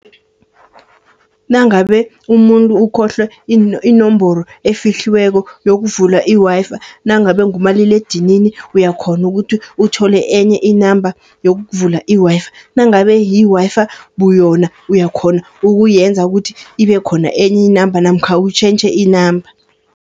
Nangabe umuntu ukhohlwe inomboro efihliweko, yokuvula i-Wi-Fi nangabe ngumaliledinini uyakhona ukuthi, uthole enye inamba yokuvula i-Wi-Fi. Nangabe yi-Wi-Fi buyona, uyakhona ukuyenza ukuthi, ibe khona enye inamba namkha utjhentjhe inamba.